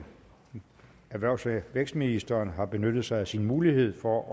erhvervs og vækstministeren har benyttet sig af sin mulighed for